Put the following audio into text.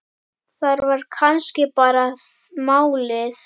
Það var kannski bara málið.